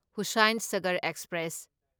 Hussain Sagar express